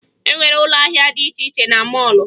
E nwere ụlọ ahịa dị iche iche na mọọlụ